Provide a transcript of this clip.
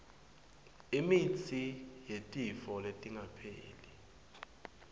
imitsi yetifo letingapheli